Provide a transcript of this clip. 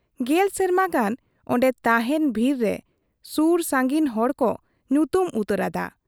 ᱜᱮᱞ ᱥᱮᱨᱢᱟ ᱜᱟᱱ ᱟᱸᱰᱮ ᱛᱟᱦᱮᱸᱱ ᱵᱷᱤᱛᱨᱟᱹ ᱨᱮ ᱥᱩᱨ ᱥᱟᱺᱜᱤᱧ ᱦᱚᱲ ᱦᱚᱸᱠᱚ ᱧᱩᱛᱩᱢ ᱩᱛᱟᱹᱨᱟᱫ ᱟ ᱾